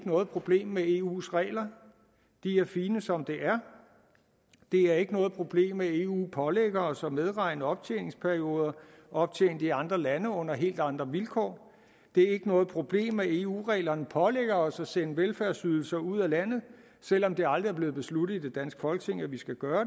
noget problem med eus regler de er fine som er det er ikke noget problem at eu pålægger os at medregne optjeningsperioder optjent i andre lande under helt andre vilkår det er ikke noget problem at eu reglerne pålægger os at sende velfærdsydelser ud af landet selv om det aldrig er blevet besluttet i det danske folketing at vi skal gøre